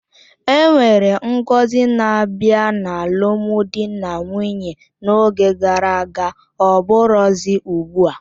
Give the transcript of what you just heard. Enwere ngọzi na-abịa n'alụmdi na nwunye n'oge gara aga ọbụrozi ugbua